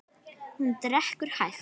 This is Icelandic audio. Hún drekkur hægt.